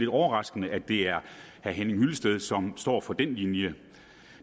overraskende at det er herre henning hyllested som står for den linje